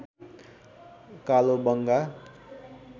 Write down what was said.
कालोबंगा